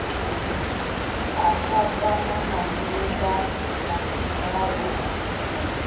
kakatana na shumba na tendai